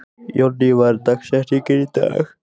Jónný, hver er dagsetningin í dag?